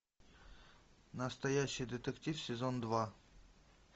настоящий детектив сезон два